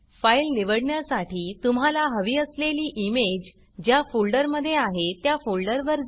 file निवडण्यासाठी तुम्हाला हवी असलेली इमेज ज्या फोल्डरमधे आहे त्या फोल्डरवर जा